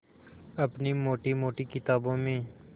अपनी मोटी मोटी किताबों में